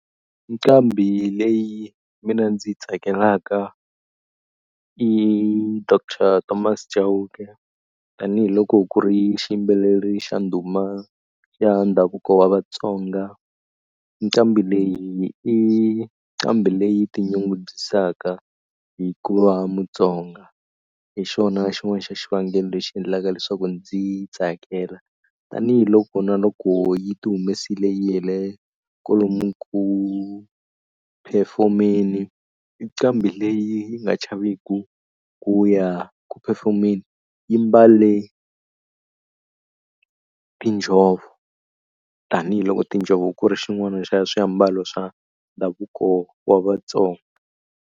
Nqambhi leyi mina ndzi yi tsakelaka i Doctor Thomas Chauke tanihiloko ku ri xiyimbeleri xa ndhuma xa ndhavuko wa Vatsonga nqambi leyi i nqambi leyi tinyungubyisaka hi ku va Mutsonga hi xona xin'wana xa xivangelo lexi endlaka leswaku ndzi yi tsakela tanihiloko na loko yi ti humesile yi kwalomu ku perform-eni i nqambi leyi yi nga chaveki ku ya ku perform-eni yi mbale tinjhovo tanihiloko tinjhovo ku ri xin'wana xa swiambalo swa ndhavuko wa Vatsonga.